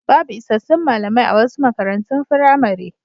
Babu isassun malamai a wasu makarantun firamare.